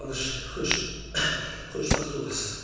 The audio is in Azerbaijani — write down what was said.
Çalış xoşbəxt olasan.